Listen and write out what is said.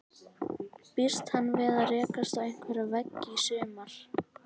Býst hann við að rekast á einhverja veggi í sumar?